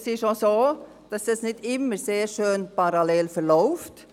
Es ist auch so, dass die Entwicklung nicht immer parallel verläuft.